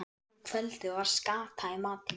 Um kvöldið var skata í matinn.